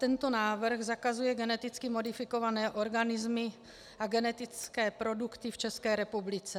Tento návrh zakazuje geneticky modifikované organismy a genetické produkty v České republice.